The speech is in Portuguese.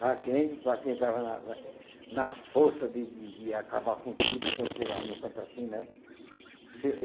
Para quem para quem estava na na na força de de de acabar com tudo, quando chegava num canto assim, né?